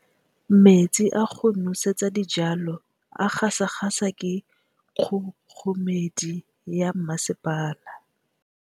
Metsi a go nosetsa dijalo a gasa gasa ke kgogomedi ya masepala.